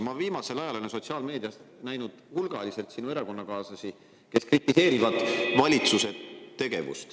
Ma olen viimasel ajal sotsiaalmeedias näinud hulgaliselt sinu erakonnakaaslasi, kes kritiseerivad valitsuse tegevust.